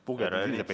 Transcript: Aitäh!